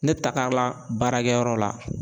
Ne bɛ taga la baarakɛ yɔrɔ la.